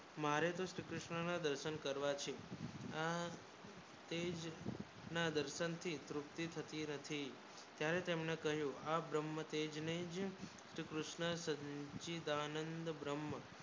મારે નું શ્રીકૃષ્ણ ના દર્શન કરવા છે આ તેજ ના દર્શન થી પૃથ્વી ઘૂમતી હતી આ તમને કહ્યું આ બ્રહ્મ તેજ ને શ્રી કૃષ્ણ સચીદાનંદ બ્રહ્મ